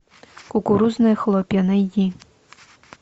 кукурузные хлопья найди